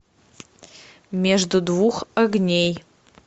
между двух огней